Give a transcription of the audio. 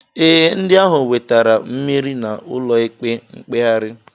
Ee, ndị ahụ nwetara mmeri n'ụlọikpe mkpegharị